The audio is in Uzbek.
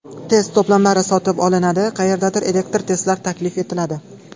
Test to‘plamlari sotib olinadi, qayerdadir elektron testlar taklif etiladi.